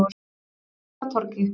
Tryggvatorgi